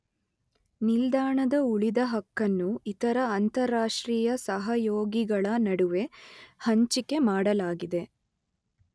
ನಿಲ್ದಾಣದ ಉಳಿದ ಹಕ್ಕನ್ನು ಇತರ ಅಂತರರಾಷ್ಟ್ರೀಯ ಸಹಯೋಗಿಗಳ ನಡುವೆ ಹಂಚಿಕೆ ಮಾಡಲಾಗಿದೆ.